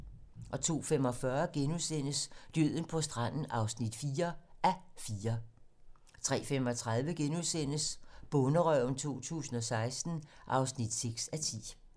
02:45: Døden på stranden (4:4)* 03:35: Bonderøven 2016 (6:10)*